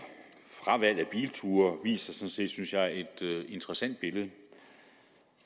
fravalg af bilture viser sådan set synes jeg et interessant billede